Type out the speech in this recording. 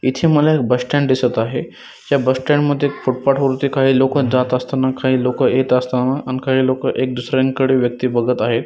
इथे मला bus stand दिसत आहे त्या बस स्टँड मध्ये फुथपाथ वरती काही लोक जात असताना काही लोक येत असताना आणि लोक एक दुसऱ्याकडे व्यक्ती बगत आहेत.